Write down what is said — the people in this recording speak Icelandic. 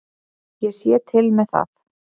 Ég sé til með það.